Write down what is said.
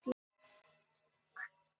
Fólk er hættulegra en álfar.